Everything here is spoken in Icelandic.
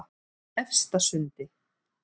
Efstasundi